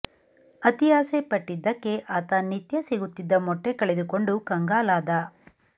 ಅತಿ ಆಸೆ ಪಟ್ಟಿದ್ದಕ್ಕೆ ಆತ ನಿತ್ಯ ಸಿಗುತ್ತಿದ್ದ ಮೊಟ್ಟೆ ಕಳೆದುಕೊಂಡು ಕಂಗಾಲಾದ